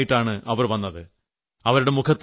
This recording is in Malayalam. ഒരു വലിയ ആൽബവുമായിട്ടാണ് അവർ വന്നത്